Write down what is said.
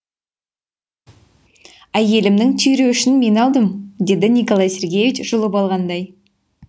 әйелімнің түйреуішін мен алдым деді николай сергеич жұлып алғандай